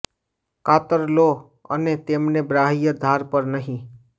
કાતર લો અને તેમને બાહ્ય ધાર પર નહીં